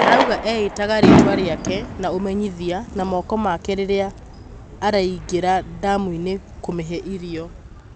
Araũga eĩtaga rĩĩtwa rĩake na ũmenyithia na moko make rĩrĩa araigera damu-inĩ kũmĩhe irio.